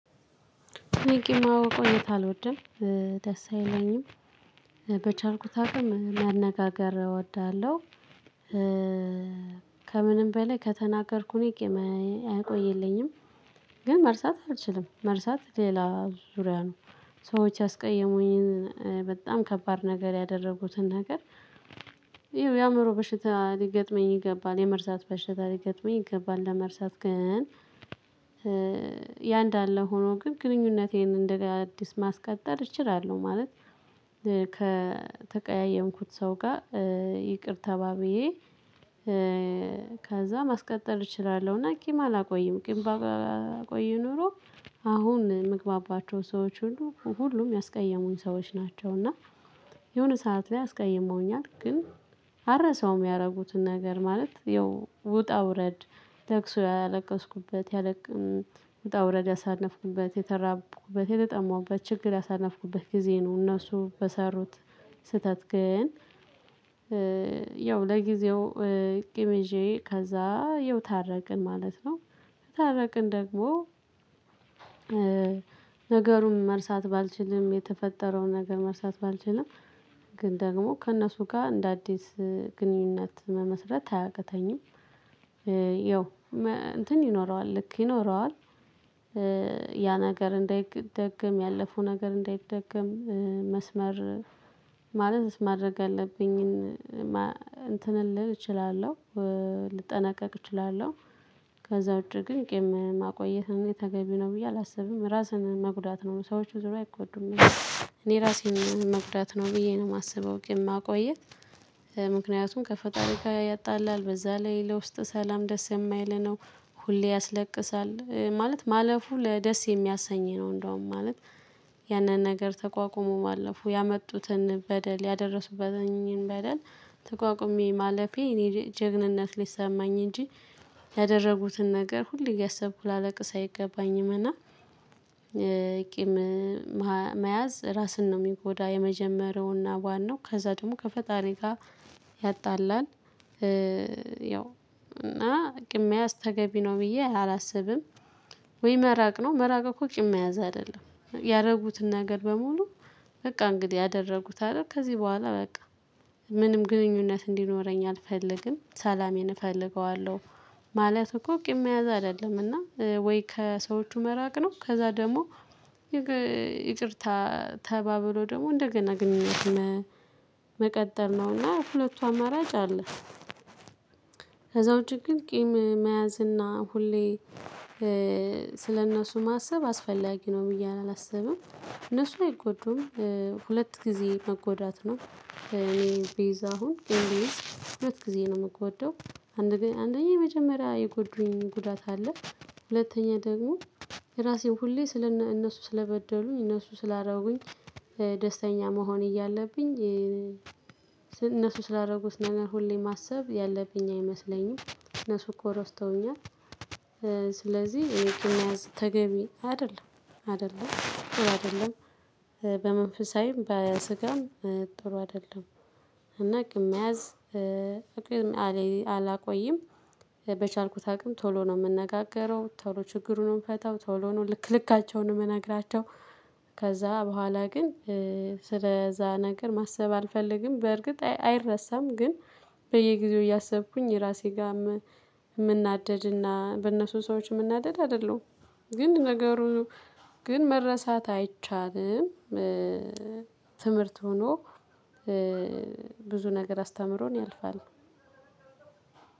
እኔ ቂም ማቆየት አልወድም ደስ አይለኝም። በቻልኩት አቅም መነጋገር እወዳለሁ። ከምንም በላይ ከተናገርኩኝ ቂም አይቆይልኝም። ግን መርሳት አልችልም መርሳት ሌላ ዙሪያ ነው። ሰዎች ያስቀየሙኝን በጣም ከባድ ነገር ያደረጉትን ነገር። ይኸው የአእምሮ በሽታ ሊገጥመኝ ይገባል የመርሳት በሽታ ሊገጥመኝ ይገባል ለመርሳት ግን። ያ እንዳለ ሆኖ ግን ግንኙነቴን እንደ አዲስ ማስቀጠል እችላለሁ ማለት። ከጠቀያየምኩት ሰው ጋር ይቅር ተባብዬ። ከዛ ማስቀጠል እችላለሁና ቂም አላቆይም ቂም ባቆይ ኖሮ። አሁን የምግባባቸው ሰዎች ሁሉ ሁሉም ያስቀየሙኝ ሰዎች ናቸው። እና የሆነ ሰዓት ላይ አስቀይሞኛል ግን አረሰውም ያደረጉትን ነገር ማለት ይው ውጣ ውረድ። ለቅሶ ያለቀስኩበት ያለቅ ውጣ ውረድ ያሳለፍኩበት የተራብኩበት የተጠማሁበት ችግር ያሳነፍኩበት ጊዜ ነው። እነሱ በሰሩት ስህተት ግን። ለጊዜው ቅመ ይዤ ከዛ ይኸው ታረቅን ማለት ነው። ከታረቅን ደግሞ። ነገሩን መርሳት ባልችልም የተፈጠረውን ነገር መርሳት ባልቻለም ግን ደግሞ ከእነሱ ጋር እንደ አዲስ ግንኙነት መመስረት አያቅተኝም። ይኸው እንትን ይኖረዋል ልክ ይኖረዋል። ያ ነገር እንዳይደግም ያለፈው ነገር እንዳይደግም። መስመር ማለት ማድረግ ያለብኝን እንትን ልል እችላለሁ ልጠነቀቅ እችላለሁ። ከዛ ውጪ ግን ቂም ማቆየት እኔ ተገቢ ነው ብዬ አላስብም ራስን መጉዳት ነው ሰዎች በዙሩያ አይጎዱም። እኔ ራሴን መጉዳት ነው ብዬ ነው የማስበው ቂም ማቆየት። ምክንያቱም ከፈጣሪ ጋር ያጣላል በዛ ላይ ለውስጥ ሰላም ደስ የማይል ነው። ሁሌ ያስለቅሳል ማለት ማለፉ ለደስ የሚያሰኝ ነው። እንደውም ማለት ያንን ነገር ተቋቁሞ ማለፉ ያመጡትን በደል ያደረሱበትን በደል ተቋቁሜ ማለፌ እኔ ጀግንነት ሊሰማኝ እንጂ። ያደረጉትን ነገር ሁሌ እያሰብኩ ላለቅስ አይገባኝም እና። ቂም መያዝ ራስን ነው የሚጎዳ የመጀመሪያውና ዋናው ከዛ ደግሞ ከፈጣሪ ጋር ያጣላል። ያው እና ቂም መያዝ ተገቢ ነው ብዬ አላስብም። ወይ መራቅ ነው መራቅ እኮ ቂም መያዝ አይደለም ያረጉትን ነገር በሙሉ። በቃ እንግዲህ አደረጉት አይደል ከዚህ በኋላ በቃ ምንም ግንኙነት እንዲኖረኝ አልፈልግም ሰላሜን እፈልገዋለሁ። ማለት እኮ ቂም መያዝ አይደለምና ወይ ከሰዎቹ መራቅ ነው። ከዛ ደግሞ ይቅርታ ተባብሎ ደግሞ እንደገና ግንኙነት መቀጠል ነውና ሁለቱ አማራጭ አለ። ከዛ ውጭ ግን ቂም መያዝ እና ሁሌ ስለእነሱ ማሰብ አስፈላጊ ነው ብዬ አላሰብም። እነሱ አይጎዱም። ሁለት ጊዜ መጎዳት ነው እኔ ቤዛ አሁን ቂም ብይዝ ሁለት ጊዜ ነው የምጎደው። አንደኛ የመጀመሪያ የጎዱኝ ጉዳት አለ። ሁለተኛ ደግሞ የራሴን ሁሌ ስለ እነሱ ስለበደሉኝ እነሱ ስላረጉኝ ደስተኛ መሆን እያለብኝ። እነሱ ስላደረጉት ነገር ሁሌ ማሰብ ያለብኝ አይመስለኝም እነሱ እኮ ረስተውኛል። ስለዚህ ቂም መያዝ ተገቢ አይደለም። አይደለም ጥሩ አይደለም። በመንፈሳዊም በስጋም ጥሩ አይደለም። እና ቂም መያዝ ቂም አላቆይም። በቻልኩት አቅም ቶሎ ነው የምነጋገረው ቶሎ ችግሩን ነው የምፈታው ቶሎ ነው ልክልካቸውን የምነግራቸው። ከዛ በኋላ ግን ስለዛ ነገር ማሰብ አልፈልግም። በእርግጥ አይረሳም ግን በየጊዜው እያሰብኩኝ ራሴ ጋር የምናደድና በእነሱ ሰዎች የምናደድ አይደለሁም። ግን ነገሩ ግን መረሳት አይቻልም። ትምህርት ሆኖ ብዙ ነገር አስተምሮን ያልፋል።